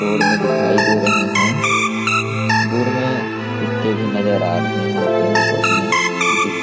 road में दिखाई दे रहे हैं दूर में कुत्ते भी नजर आ रहे हैं पेड़ पौधे --